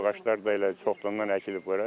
Bu ağaclar da elə çoxdandır əkilib bura.